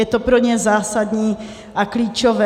Je to pro ně zásadní a klíčové.